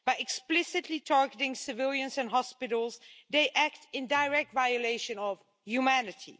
By explicitly targeting civilians and hospitals, they act in direct violation of humanity.